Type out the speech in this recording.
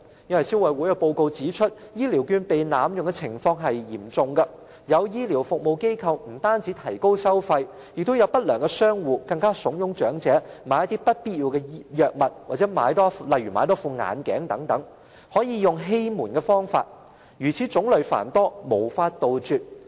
因為消委會報告指出，現時醫療券被濫用的情況嚴重，有醫療服務機構提高收費，亦有不良商戶慫恿長者購買不必要的藥物，又或多購買一副眼鏡，使用的欺瞞方法種類繁多，根本無法杜絕。